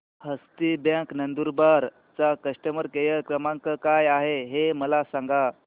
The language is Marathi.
हस्ती बँक नंदुरबार चा कस्टमर केअर क्रमांक काय आहे हे मला सांगा